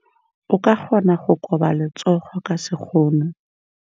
O ka kgona go koba letsogo ka sekgono.